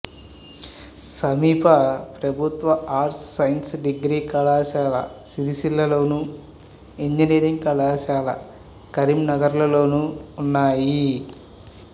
సమీప ప్రభుత్వ arts science degree కళాశాల సిరిసిల్లలోను ఇంజనీరింగ్ కళాశాల కరీంనగర్లోనూ ఉన్నాయి